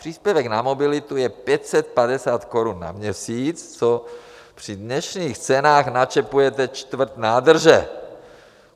Příspěvek na mobilitu je 550 korun na měsíc, což při dnešních cenách načepujete čtvrt nádrže.